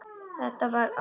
Það var ástin.